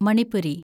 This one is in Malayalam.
മണിപ്പൂരി